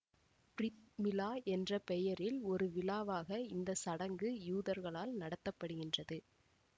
பிறித் மிழா என்ற பெயரில் ஒரு விழாவாக இந்த சடங்கு யூதர்களால் நடத்தப்படுகின்றது